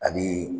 Ani